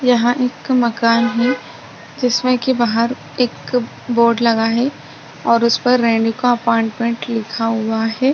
यहाँ एक मकान है जिसमे की बाहर एक बोर्ड लगा है और उसपर रेनिका अपॉइंटमेंट लिखा हुआ है।